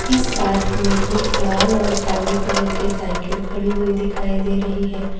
इस पार्क में एक लाल और काले कलर की साइकिल खड़ी हुई दिखाई दे रही है।